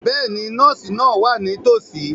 Bẹ́ẹ̀ni, nọ́ọ̀sì náà wà nítòsí.